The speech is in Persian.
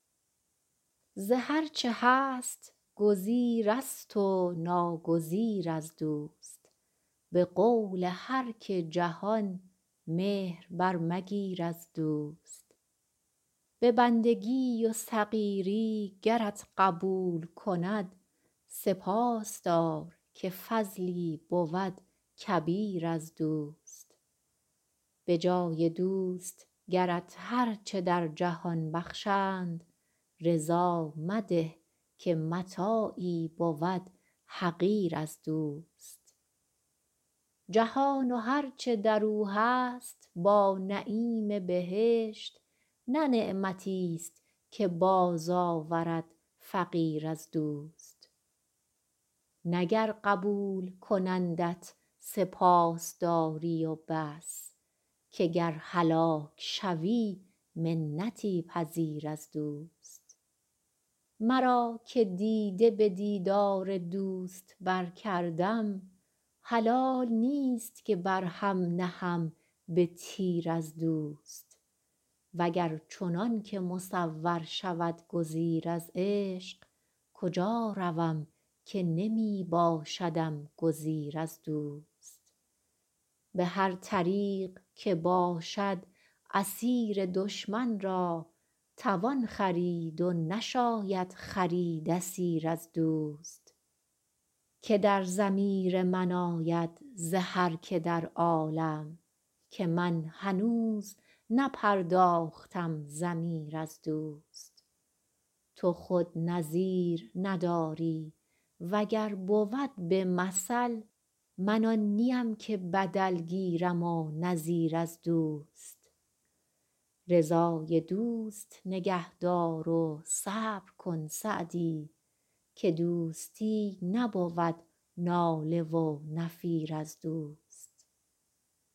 ز هر چه هست گزیرست و ناگزیر از دوست به قول هر که جهان مهر برمگیر از دوست به بندگی و صغیری گرت قبول کند سپاس دار که فضلی بود کبیر از دوست به جای دوست گرت هر چه در جهان بخشند رضا مده که متاعی بود حقیر از دوست جهان و هر چه در او هست با نعیم بهشت نه نعمتیست که بازآورد فقیر از دوست نه گر قبول کنندت سپاس داری و بس که گر هلاک شوی منتی پذیر از دوست مرا که دیده به دیدار دوست برکردم حلال نیست که بر هم نهم به تیر از دوست و گر چنان که مصور شود گزیر از عشق کجا روم که نمی باشدم گزیر از دوست به هر طریق که باشد اسیر دشمن را توان خرید و نشاید خرید اسیر از دوست که در ضمیر من آید ز هر که در عالم که من هنوز نپرداختم ضمیر از دوست تو خود نظیر نداری و گر بود به مثل من آن نیم که بدل گیرم و نظیر از دوست رضای دوست نگه دار و صبر کن سعدی که دوستی نبود ناله و نفیر از دوست